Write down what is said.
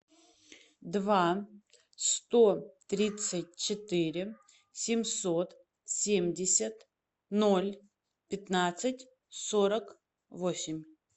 два сто тридцать четыре семьсот семьдесят ноль пятнадцать сорок восемь